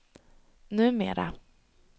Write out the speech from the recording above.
numera